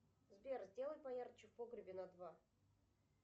сбер сделай поярче в погребе на два